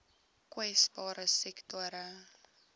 kwesbare sektore